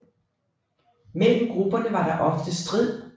Mellem grupperne var der ofte strid